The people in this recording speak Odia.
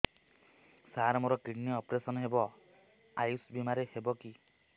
ସାର ମୋର କିଡ଼ନୀ ଅପେରସନ ହେବ ଆୟୁଷ ବିମାରେ ହେବ କି